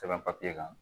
Sɛbɛn papiye kan